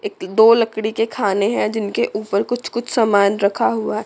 एक दो लकड़ी के खाने हैं जिनके ऊपर कुछ कुछ सामान रखा हुआ--